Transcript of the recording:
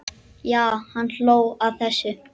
Já, hann hló að þessu!